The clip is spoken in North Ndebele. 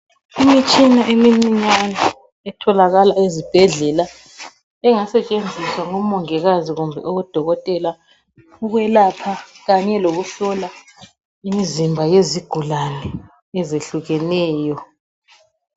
Imitshina emincinyane etholakala ezibhedlela engasetshenziswa ngomongikazi kumbe odokotela ukwelapha kanye lokuhlola imizimba yezigulane ezehlukeneyo.